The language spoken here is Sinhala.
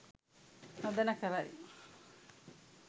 නොදැන කරයි.